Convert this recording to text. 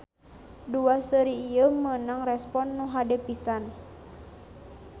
Dua seri ieu meunang respon anu hade pisan.